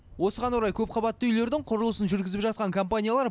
осыған орай көпқабатты үйлердің құрылысын жүргізіп жатқан компаниялар